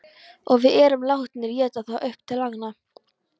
Og við erum látnir éta það upp til agna.